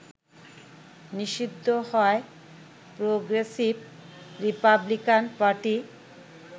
নিষিদ্ধ হয় progressive republican party